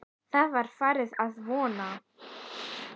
Það var farið að vora.